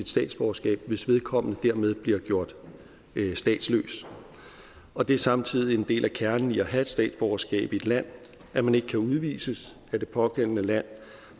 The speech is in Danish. statsborgerskab hvis vedkommende dermed bliver gjort statsløs og det er samtidig en del af kernen i at have et statsborgerskab i et land at man ikke kan udvises af det pågældende land